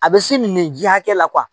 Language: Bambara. A bɛ se min ji hakɛ la